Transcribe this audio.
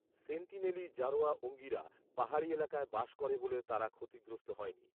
সেন্টিনেলি জারোয়া ওঙ্গিরা পাহাড়ি এলাকায় বাস করে বলে তারা ক্ষতিগ্রস্ত হয়নি